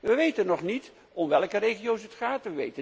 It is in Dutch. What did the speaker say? We weten nog niet om welke regio's het gaat.